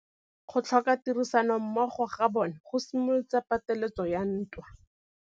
Go tlhoka tirsanommogo ga bone go simolotse patêlêsêgô ya ntwa.